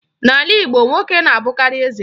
N'ala Igbo, nwoke na-abụkarị eze.